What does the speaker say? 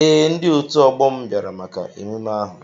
Ee, ndi otu ọgbọ mụ bịara maka emume ahụ.